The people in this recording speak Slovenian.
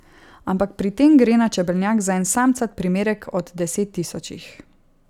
Ampak pri tem gre na čebelnjak za en samcat primerek od desettisočih.